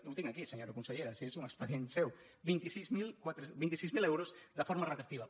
ho tinc aquí senyora con·sellera si és un expedient seu vint sis mil euros de forma retroactiva